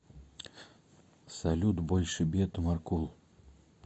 салют больше бед маркул